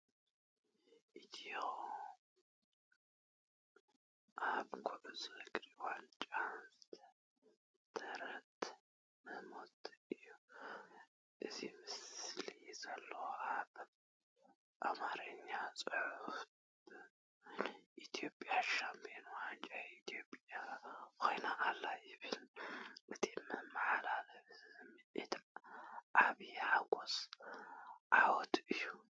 ኢትዮጵያ ኣብ ኩዕሶ እግሪ ዋንጫ ዝዓተረትሉ ህሞት እዩ። ኣብቲ ምስሊ ዘሎ ናይ ኣምሓርኛ ጽሑፍ "ቡን ኢትዮጵያ ሻምፕዮን ዋንጫ ኢትዮጵያ ኮይና ኣላ" ይብል። እቲ ዝመሓላለፍ ስምዒት ዓቢ ሓጎስን ዓወትን እዩ።